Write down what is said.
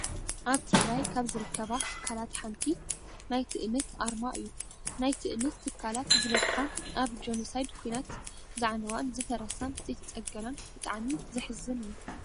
ኣብ ትግራይ ካብ ዝርከባ ትካላት ሓንቲ ናይ ትእምት ኣርማ እዩ። ናይ ትእምት ትካላት ዝበዝሓ ኣብ ጆኖሳይድ ኩናት ዝዓነዋን ዝፈረሳን ዘይተፀገናን ብጣዕሚ ዝሕዝን እዩ።